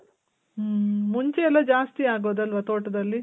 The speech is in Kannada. ಮ್ಮ್. ಮುಂಚೆ ಎಲ್ಲ ಜಾಸ್ತಿ ಆಗೋದು ಅಲ್ವ ತೋಟದಲ್ಲಿ?